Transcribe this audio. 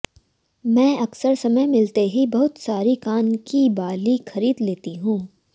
मैं अकसर समय मिलते ही बहुत सारी कान की बाली खरीद लेती हूं